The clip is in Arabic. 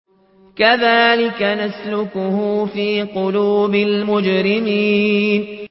كَذَٰلِكَ نَسْلُكُهُ فِي قُلُوبِ الْمُجْرِمِينَ